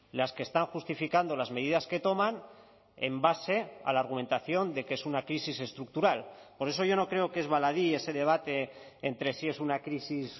las que están justificando las medidas que toman en base a la argumentación de que es una crisis estructural por eso yo no creo que es baladí ese debate entre si es una crisis